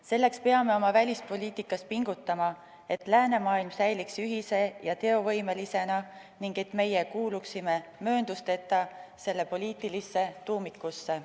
Selleks peame oma välispoliitikas pingutama, et läänemaailm säiliks ühise ja teovõimelisena ning et meie kuuluksime mööndusteta selle poliitilisse tuumikusse.